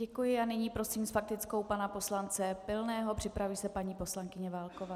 Děkuji a nyní prosím s faktickou pana poslance Pilného, připraví se paní poslankyně Válková.